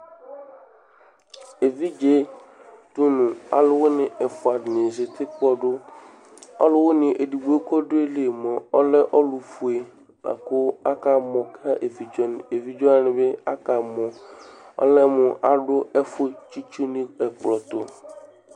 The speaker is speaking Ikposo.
Evidze ɖʋŋʋ alʋwìní ɛfʋa dìŋí zɛti kpɔɖu Ɔlʋwìní ɛɖigbo kʋ aɖu ayìlí mʋa ɔlɛ ɔlu fʋe kʋ akamɔ kʋ evidze waŋi bi akamɔ Ɔlɛmu aɖu ɛfu tsi itsu ŋu ɛkplɔ tu